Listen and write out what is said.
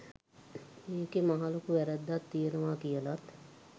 ඒකෙ මහලොකු වැරැද්දක් තියනව කියලත්